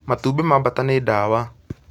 Matumbĩ ma baata nĩ dawa